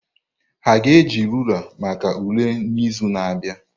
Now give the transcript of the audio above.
Ha ga-eji rulaa maka ule n'izu na-abịa?